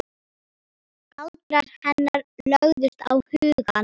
Galdrar hennar lögðust á hugann.